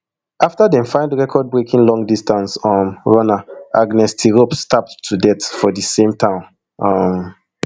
afta dem find recordbreaking longdistance um runner agnes tirop stabbed to death for di same town um